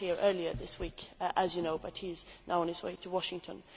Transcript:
He was here earlier this week, as you know, but he is now on his way to Washington.